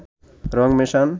রং মেশান